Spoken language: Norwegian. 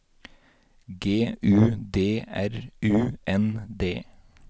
G U D R U N D